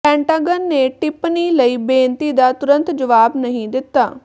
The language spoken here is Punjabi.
ਪੈਂਟਾਗਨ ਨੇ ਟਿੱਪਣੀ ਲਈ ਬੇਨਤੀ ਦਾ ਤੁਰੰਤ ਜਵਾਬ ਨਹੀਂ ਦਿੱਤਾ